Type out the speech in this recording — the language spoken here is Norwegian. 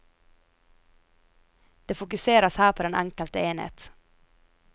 Det fokuseres her på den enkelte enhet.